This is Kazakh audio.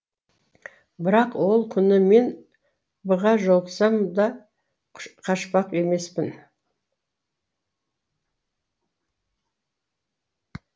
бірақ ол күні мен б ға жолықсам да қашпақ емеспін